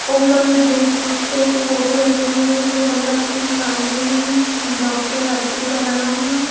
ऊपर देशभक्तों के फोटो लगे हुए हैं जिसमें भगत सिंह गांधी जी डॉक्टर अब्दुल कलाम--